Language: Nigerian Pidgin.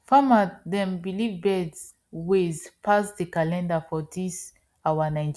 farmers dem believe birds ways pass the calendar for dis our nigeria